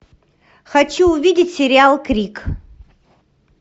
хочу увидеть сериал крик